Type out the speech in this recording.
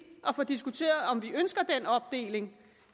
at få diskuteret nemlig om vi ønsker den opdeling